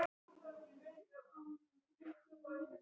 Hann týndi öllu sem honum var kærast, hundinum, stelpunni, öllu.